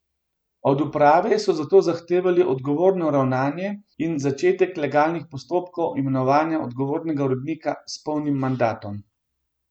Od uprave so zato zahtevali odgovorno ravnanje in začetek legalnih postopkov imenovanja odgovornega urednika s polnim mandatom.